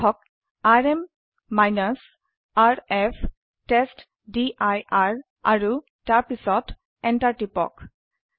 লিখক RM rf টেষ্টডিৰ আৰু তাৰ পিছতEnter টিপক